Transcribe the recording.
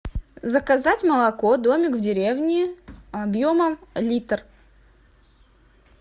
заказать молоко домик в деревне объемом литр